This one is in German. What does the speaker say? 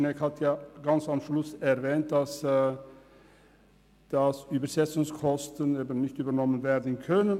Schnegg hat ganz am Schluss erwähnt, dass die Übersetzungskosten nicht übernommen werden können.